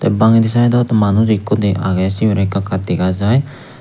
bangedi sydot manuj ikko de agey sibirey ekka ekka dega jaai.